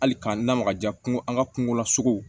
Hali k'an lamaga ja kungo an ka kungo lasogo